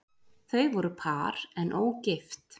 Þau voru par en ógift